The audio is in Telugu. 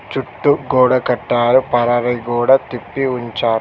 చుట్టూ గోడ కట్టారు పరవై గోడ తిప్పి ఉంచార్.